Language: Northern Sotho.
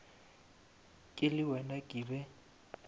ke le wena ke be